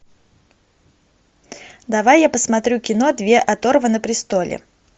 давай я посмотрю кино две оторвы на престоле